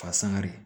Fagali